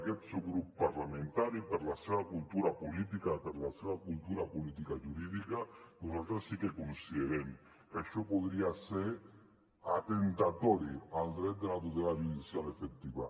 aquest subgrup parlamentari per la seva cultura política i per la seva cultura politicojurídica nosaltres sí que considerem que això podria ser atemptatori contra el dret de la tutela judicial efectiva